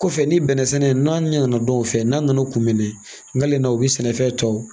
Kɔfɛ ni bɛnnɛsɛnɛ n'a ɲɛ nana dɔn u fɛ n'a nana u kun minɛ n kalenna na u bɛ sɛnɛfɛn tɔ